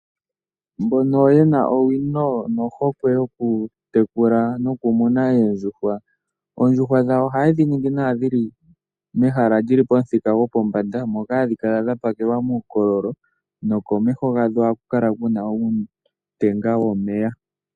Mbono yena owino nohokwe yokutekula nokumuna eendjuhwa, oondjuhwa dhawo ohaye dhiningi nawa dhili mehala ndjili pomuthika gopombanda moka hadhi kala dhapakelwa muukololo nokomeho hadho ohaku kala kunu uutenga womeya.